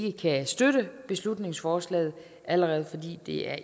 ikke kan støtte beslutningsforslaget allerede fordi det er